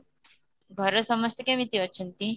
ଘରେ ସମସ୍ତେ କେମିତି ଅଛନ୍ତି?